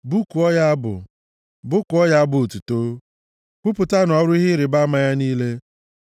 Bụkuo ya abụ, bụkuo ya abụ otuto; kwupụtanụ ọrụ ihe ịrịbama ya niile.